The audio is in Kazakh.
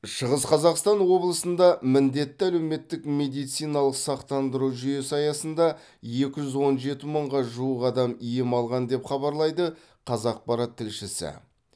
шығыс қазақстан облысында міндетті әлеуметтік медициналық сақтандыру жүйесі аясында екі жүз он жеті мыңға жуық адам ем алған деп хабарлайды қазақпарат тілшісі